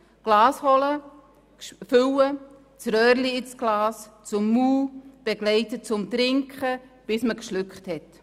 Das Glas holen, füllen, das Röhrchen in das Glas geben, das Glas zum Mund führen und die Begleitung beim Trinken, bis das Wasser geschluckt werden konnte.